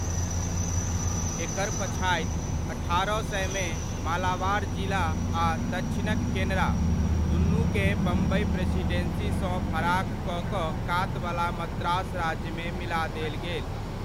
एकर पछाति, अठारह सयमे, मालाबार जिला आ दक्षिणक केनरा, दुनुकेँ बम्बइ प्रेसिडेन्सीसँ फराक कऽ कऽ कातवला मद्रास राज्यमे मिला देल गेल।